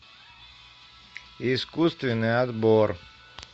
искусственный отбор